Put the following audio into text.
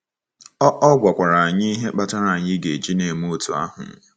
Ọ Ọ gwakwara anyị ihe kpatara anyị ga-eji na-eme otú ahụ.